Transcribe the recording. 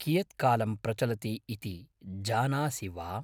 कियत्कालं यावत् प्रचलति इति जानासि वा?